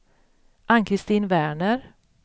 Ann-Christin Werner